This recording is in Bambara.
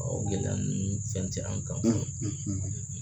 o gɛlɛya ninnu fɛn tɛ an kan